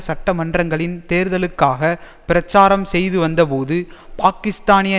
சட்டமன்றங்களின் தேர்தல்களுக்காக பிரச்சாரம் செய்துவந்தபோது பாக்கிஸ்தானிய